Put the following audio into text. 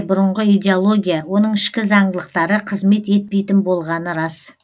бұрынғы идеология оның ішкі заңдылықтары қызмет етпейтін болғаны рас